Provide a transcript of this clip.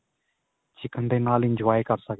chicken ਦੇ ਨਾਲ enjoy ਕਰ ਸਕਦੇ.